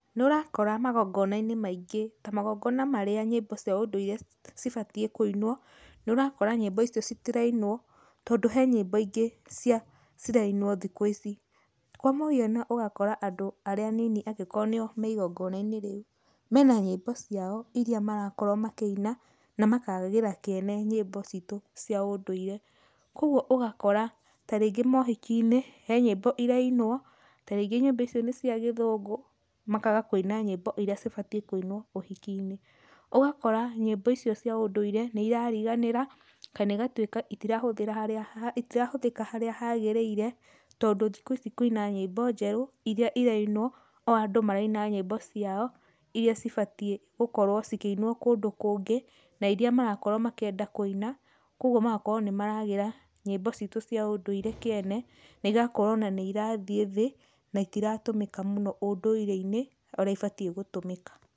Nĩũrakora magongona-inĩ maingĩ ta magongona marĩa nyĩmbo cia ũndũire cibatiĩ kũinwo, nĩũrakora nyĩmbo icio citirainwo tondũ he nyĩmbo ingĩ cia, cirainwo thikũ ici. Kwa mũhiano ũgakora andũ arĩa anini angĩkorwo nĩo me igongona-inĩ rĩu, mena nyĩmbo ciao iria marakorwo makĩina na makagĩra kĩene nyĩmbo citu cia ũndũire. Kwogo ũgakora tarĩngĩ mohiki-inĩ, he nyĩmbo irainwo, tarĩngĩ nyĩmbo icio nĩ cia gĩthũngũ, makaga kũina nyĩmbo iria cibatiĩ kũinwo ũhiki-inĩ. Ũgakora nyĩmbo icio cia ũndũire nĩ irariganĩra, kana igatuĩka itirahũthĩra, itirahũthĩka harĩa hagĩrĩire, tondũ thikũ ici kwĩna nyĩmbo njerũ iria irainwo, o andũ maraina nyĩmbo ciao iria cibatiĩ gũkorwo cikĩinwo kũndũ kũngĩ, na iria marakorwo makĩenda kũina, kwogwo magakorwo nĩ maragĩra nyĩmbo citu cia ũndũire kĩene, na igakorwo ona nĩ irathiĩ thĩ na itiratũmĩka mũno ũndũire-inĩ ũrĩa ibatiĩ gũtũmĩka.